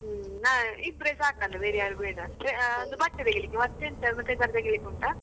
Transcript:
ಹ್ಮ್ ಆ ಇಬ್ರೇ ಸಾಕಲ್ಲ ಬೇರೆ ಯಾರು ಬೇಡ, ಆ ಬಟ್ಟೆ ತೆಗೀಲಿಕ್ಕೆ ಮತ್ತೆ ಎಂತಾದ್ರೂ ತೆಗಿಲಿಕ್ಕೆ ಉಂಟಾ?